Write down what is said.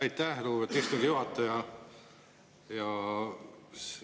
Aitäh, lugupeetud istungi juhataja!